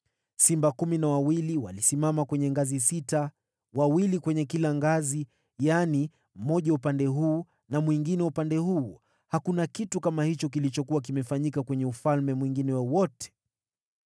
Simba kumi na wawili walisimama kwenye ngazi sita, mmoja katika kila upande wa kila ngazi. Hakuna kitu kama hicho kilichokuwa kimefanyika kwenye ufalme mwingine wowote.